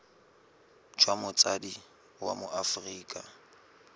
jwa motsadi wa mo aforika